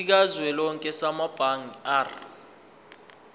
sikazwelonke samabanga r